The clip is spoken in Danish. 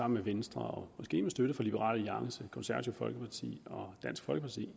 med venstre og måske med støtte fra liberal alliance konservative folkeparti og dansk folkeparti